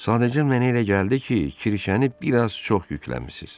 Sadəcə mənə elə gəldi ki, kirşəni bir az çox yükləmisiz.